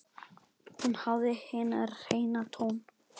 Hún hafði hinn hreina tón.